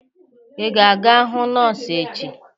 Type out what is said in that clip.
Ị ga-aga hụ nọọsụ echi!